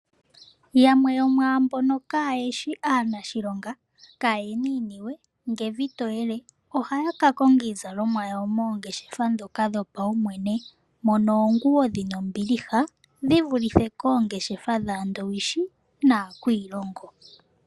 Yamwe yomwaambono kaayeshi aanashilonga, kaaye na iiniwe nge evi toyele ohaya ka konga iizalomwa yawo moongeshefa ndhoka dhopaumwene mono oonguwo dhi na ombiliha dhi vulithe koongeshefa dhaandowishi nakwiilongo.